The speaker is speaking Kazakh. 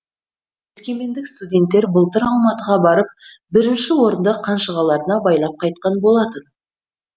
өскемендік студенттер былтыр алматыға барып бірінші орынды қанжығаларына байлап қайтқан болатын